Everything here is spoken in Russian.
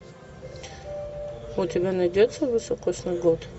у тебя найдется високосный год